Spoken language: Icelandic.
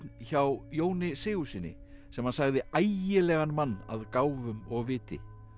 hjá Jóni Sigurðssyni sem hann sagði ægilegan mann að gáfum og viti